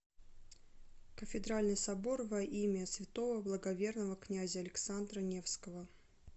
кафедральный собор во имя святого благоверного князя александра невского